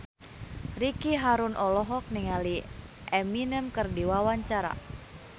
Ricky Harun olohok ningali Eminem keur diwawancara